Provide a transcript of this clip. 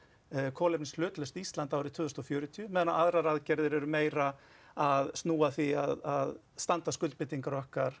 kolefnishlutlaust Ísland árið tvö þúsund og fjörutíu á meðan aðrar aðgerðir eru meira að snúa að því að standast skuldbindingar okkar